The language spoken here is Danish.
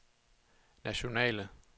nationale